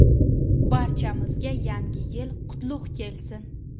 Barchamizga yangi yil qutlug‘ kelsin!